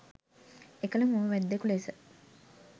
එකල මුව වැද්දෙකු ලෙස